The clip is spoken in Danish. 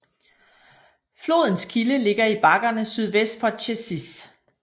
Flodens kilde ligger i bakkerne sydvest for Cēsis